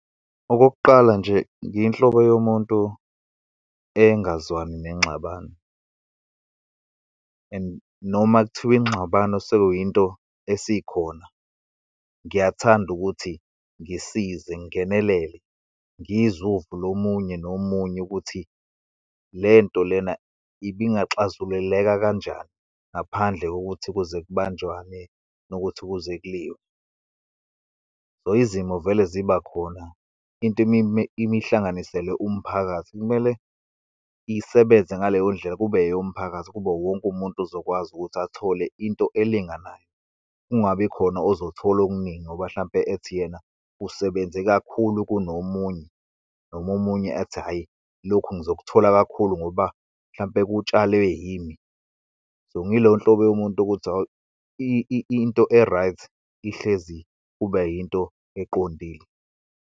Okokuqala nje, ngeyinhlobo yomuntu engazwani nengxabano and noma kuthiwa ingxabano sekuyinto esikhona, ngiyathanda ukuthi ngisize, ngingenelele, ngizwe uvo lomunye nomunye, ukuthi lento lena ibingaxazululeka kanjani, ngaphandle kokuthi kuze kubanjwane, nokuthi kuze kuliwe. So, izimo vele ziba khona, into imihlanganiselwe umphakathi, kumele isebenze ngaleyo ndlela, kube eyomphakathi, kube wonke umuntu ozokwazi ukuthi athole into elinganayo, kungabi khona ozothola okuningi, ngoba hlampe ethi yena usebenze kakhulu kunomunye, noma omunye athi hhayi lokhu ngizokuthola kakhulu ngoba mhlampe kutshalwe yimi. So, ngiyiloyo nhlobo yomuntu ukuthi hawu, into e-right ihlezi kuba yinto eqondile.